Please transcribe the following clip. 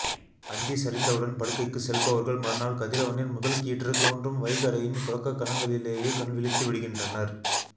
அந்தி சரிந்தவுடன் படுக்கைக்கு செல்பவர்கள் மறுநாள் கதிரவனின் முதல் கீற்று தோன்றும் வைகறையின் தொடக்கக் கணங்களிலேயே கண் விழித்து விடுகின்றனர்